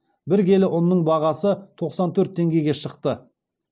бәр келі ұнның бағасы тоқсан төрт теңгеге шықты